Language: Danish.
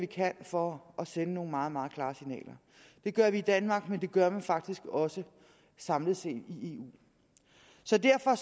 kan for at sende nogle meget meget klare signaler det gør vi i danmark men det gør man faktisk også samlet set i eu så derfor